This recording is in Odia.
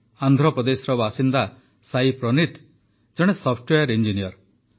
ଆନ୍ଧ୍ରପ୍ରଦେଶର ବାସିନ୍ଦା ସାଇ ପ୍ରନୀଥ ଜଣେ ସଫ୍ଟୱେୟାର ଇଞ୍ଜିନିୟର